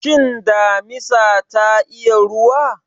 Shin damisa ta iya ruwa?